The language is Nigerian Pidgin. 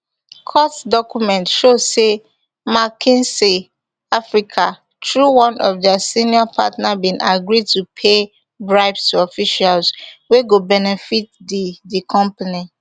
court document show say mckinsey africa through one of dia senior partner bin agree to pay bribes to officials wey go benefit di di company